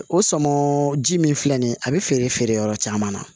O sɔnmɔ ji min filɛ nin ye a bi feere yɔrɔ caman na